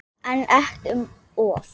En ekki um of.